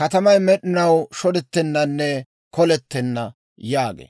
katamay med'inaw shodettennanne kolettenna» yaagee.